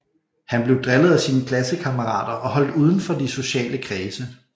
Han blev drillet af sine klassekammerater og holdt uden for de sociale kredse